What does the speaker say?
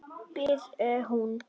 biður hún.